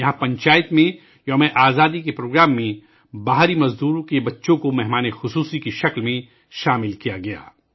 یہاں پنچایت میں یوم ِ آزادی کے پروگرام میں مہاجر مزدوروں کے بچوں کو مہمان خصوصی کے طور پر شامل کیا گیا تھا